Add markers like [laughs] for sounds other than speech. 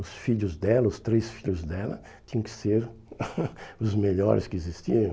Os filhos dela, os três filhos dela, tinham que ser [laughs] os melhores que existiam.